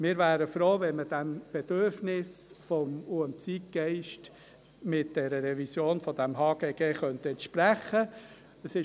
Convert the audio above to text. Wir wären froh, wenn man diesem Bedürfnis sowie dem Zeitgeist mit der Revision des HGG entsprechen könnte.